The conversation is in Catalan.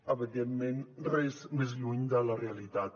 evidentment res més lluny de la realitat